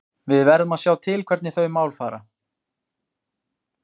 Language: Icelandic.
Við verðum að sjá til hvernig þau mál fara.